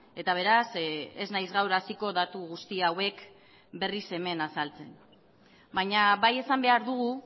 eta beraz ez naiz gaur hasiko datu guzti hauek berriz hemen azaltzen baina bai esan behar dugu